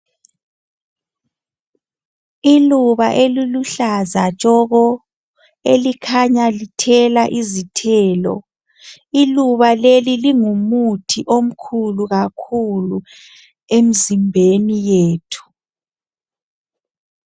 Iluba eluluhlaza tshoko elikhanya lithela izithelo iluba lelo lingumuthi omukhulu kakhulu emizimbheni yethu.